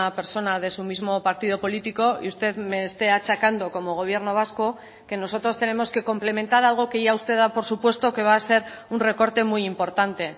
persona de su mismo partido político y usted me esté achacando como gobierno vasco que nosotros tenemos que complementar algo que ya usted da por supuesto que va a ser un recorte muy importante